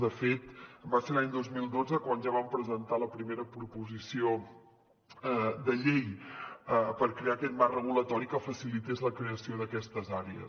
de fet va ser l’any dos mil dotze quan ja vam presentar la primera proposició de llei per crear aquest marc regulatori que facilités la creació d’aquestes àrees